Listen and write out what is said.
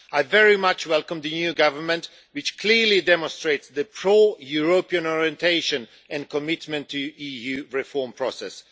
I very much welcome the new government, which clearly demonstrates a pro-European orientation and commitment to the EU reform process.